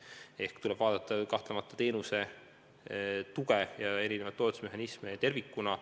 Kahtlemata tuleb vaadelda teenuse tuge ja erinevaid toetusmehhanisme tervikuna.